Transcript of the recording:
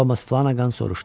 Thomas Flanagan soruşdu.